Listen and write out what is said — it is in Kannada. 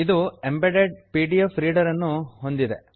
ಇದು ಎಂಬೆಡೆಡ್ ಪಿಡಿಎಫ್ ರೀಡರ್ ಅನ್ನು ಹೊಂದಿದೆ